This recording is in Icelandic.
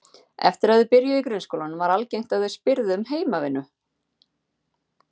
Eftir að þau byrjuðu í grunnskólanum var algengt að þau spyrðu um heimavinnu.